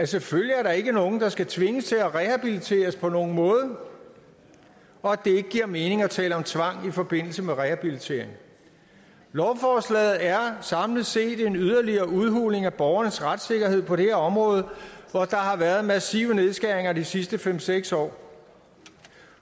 selvfølgelig ikke er nogen der skal tvinges til at rehabiliteres på nogen måde og at det ikke giver mening at tale om tvang i forbindelse med rehabilitering lovforslaget er samlet set yderligere en udhuling af borgernes retssikkerhed på det her område hvor der har været massive nedskæringer de sidste fem seks år